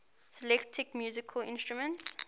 celtic musical instruments